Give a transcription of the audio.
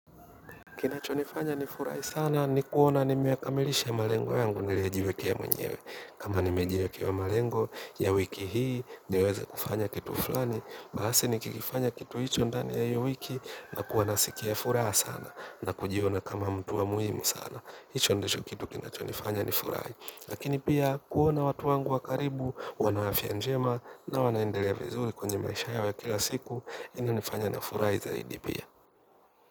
Kinachonifanya ni furahi sana ni kuona nimeyakamilisha malengo yangu niliyojiwekea mwenyewe. Kama nimejiwekea malengo ya wiki hii niweze kufanya kitu fulani basi nikikifanya kitu hicho ndani ya hiyo wiki, nitakuwa naskia furaha na kujiona kama mtu wa muhimu sana. Hicho ndicho kitu kinachonifanya ni furahi. Lakini pia kuona watu wangu wa karibu wana afia njema na wanaendelea vizuri kwenye maisha yao ya kila siku inanifanya na furahi zaidi pia.